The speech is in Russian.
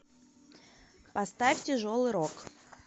поставь тяжелый рок